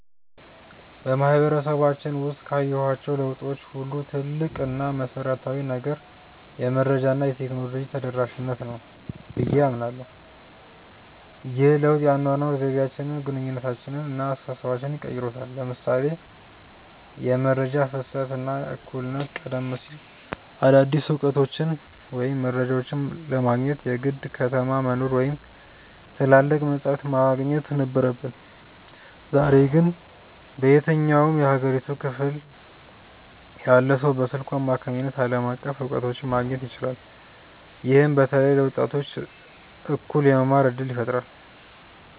በማህበረሰባችን ውስጥ ካየኋቸው ለውጦች ሁሉ ትልቁ እና መሰረታዊው ነገር "የመረጃ እና የቴክኖሎጂ ተደራሽነት" ነው ብዬ አምናለሁ። ይህ ለውጥ የአኗኗር ዘይቤያችንን፣ ግንኙነታችንን እና አስተሳሰባችንን ቀይሮታል ለምሳሌ የመረጃ ፍሰት እና እኩልነት ቀደም ሲል አዳዲስ እውቀቶችን ወይም መረጃዎችን ለማግኘት የግድ ከተማ መኖር ወይም ትላልቅ መጻሕፍት ማግኘት ነበረብን። ዛሬ ግን በየትኛውም የሀገሪቱ ክፍል ያለ ሰው በስልኩ አማካኝነት ዓለም አቀፍ እውቀቶችን ማግኘት ይችላል። ይህም በተለይ ለወጣቶች እኩል የመማር እድልን ፈጥሯል።